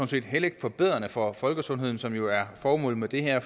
set heller ikke forbedrende for folkesundheden som jo ellers er formålet med det her